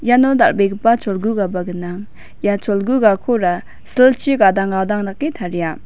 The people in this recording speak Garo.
iano dal·begipa cholgugaba gnang ia cholgugakora silchi gadang gadang dake taria.